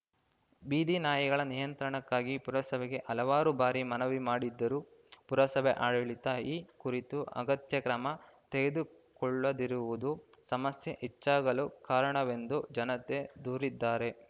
ಬೀದಿ ನಾಯಿಗಳ ನಿಯಂತ್ರಣಕ್ಕಾಗಿ ಪುರಸಭೆಗೆ ಹಲವಾರು ಬಾರಿ ಮನವಿ ಮಾಡಿದರೂ ಪುರಸಭೆ ಆಡಳಿತ ಈ ಕುರಿತು ಅಗತ್ಯ ಕ್ರಮ ತೆಗೆದುಕೊಳ್ಳದಿರುವುದು ಸಮಸ್ಯೆ ಹೆಚ್ಚಾಗಲು ಕಾರಣವೆಂದು ಜನತೆ ದೂರಿದ್ದಾರೆ